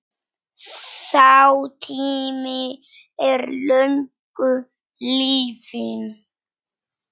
Sá tími er löngu liðinn.